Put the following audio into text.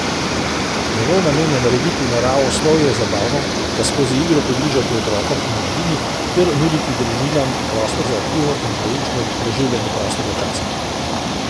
Njegov namen je narediti naravoslovje zabavno, ga skozi igro približati otrokom in mladini ter nuditi družinam prostor za aktivno in poučno preživljanje prostega časa.